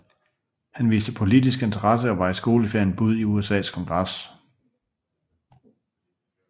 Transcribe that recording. Han viste politisk interesse og var i skoleferien bud i USAs kongres